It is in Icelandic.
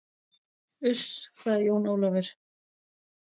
Uss, sagði Jón Ólafur.